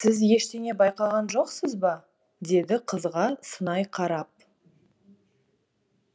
сіз ештеңе байқаған жоқсыз ба деді қызға сынай қарап